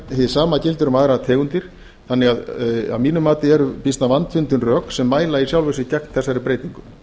hið sama gildir um aðrar tegundir þannig að að mínu mati eru býsna vandfundin rök sem mæla í sjálfu sér gegn þessari breytingu